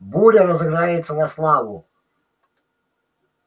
буря разыграется на славу